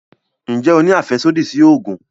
Nje o ni afẹsodi si oogun?